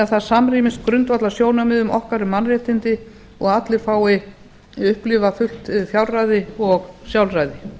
það samrýmist grundvallarsjónarmiðum okkar um mannréttindi og að allir fái upplifað fullt fjárræði og sjálfræði